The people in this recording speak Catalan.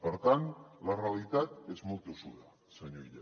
per tant la realitat és molt tossuda senyor illa